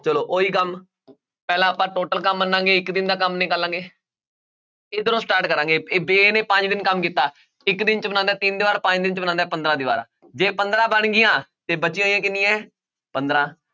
ਚਲੋ ਉਹੀ ਕੰਮ ਪਹਿਲਾਂ ਆਪਾਂ total ਕੰਮ ਮੰਨਾਂਗੇ ਇੱਕ ਦਿਨ ਦਾ ਕੰਮ ਨਿਕਾਲਾਂਗੇ ਇੱਧਰੋਂ start ਕਰਾਂਗੇ ਨੇ ਪੰਜ ਦਿਨ ਕੰਮ ਕੀਤਾ, ਇੱਕ ਦਿਨ 'ਚ ਬਣਾਉਂਦਾ ਹੈ ਤਿੰਨ ਦੀਵਾਰ ਪੰਜ ਦਿਨ 'ਚ ਬਣਾਉਂਦਾ ਹੈ ਪੰਦਰਾਂ ਦੀਵਾਰਾਂ ਜੇ ਪੰਦਰਾਂ ਬਣ ਗਈਆਂ ਤੇ ਬਚੀਆਂ ਹੋਈਆਂ ਕਿੰਨੀਆਂ ਹੈ ਪੰਦਰਾਂ